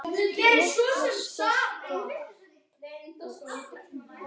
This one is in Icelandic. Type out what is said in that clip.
Lilla skellti upp úr.